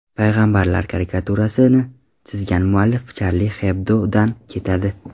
Payg‘ambarlar karikaturasini chizgan muallif Charlie Hebdo‘dan ketadi.